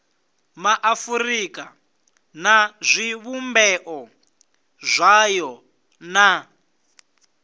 maafurika na zwivhumbeo zwayo na